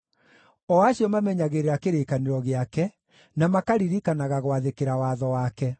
o acio mamenyagĩrĩra kĩrĩkanĩro gĩake, na makaririkanaga gwathĩkĩra watho wake.